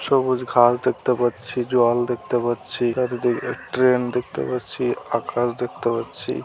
সবুজ ঘাস দেখতে পাচ্ছি জল দেখতে পাচ্ছি ট্রেন দেখতে পাচ্ছি আকাশ দেখতে পাচ্ছি।